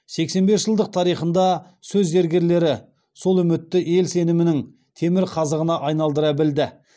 сексен бес жылдық тарихында сөз зергерлері сол үмітті ел сенімінің темір қазығына айналдыра білді